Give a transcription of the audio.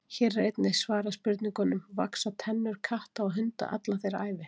Hér er einnig svarað spurningunum: Vaxa tennur katta og hunda alla þeirra ævi?